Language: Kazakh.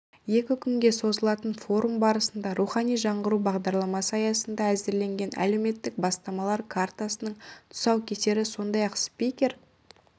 екі күнге созылатын форум барысында рухани жаңғыру бағдарламасы аясында әзірленген әлеуметтік бастамалар картасының тұсаукесері сондай-ақ спикер